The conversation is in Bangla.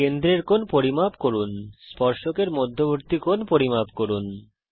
কেন্দ্রের কোণ পরিমাপ করুন স্পর্শকের মধ্যবর্তী কোণ পরিমাপ করুন